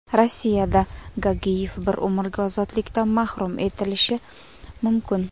Rossiyada Gagiyev bir umrga ozodlikdan mahrum etilishi mumkin.